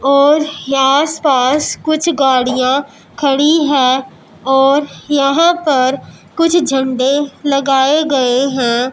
और आस पास कुछ गाड़ियां खड़ी है और यहां पर कुछ झंडे लगाए गए हैं।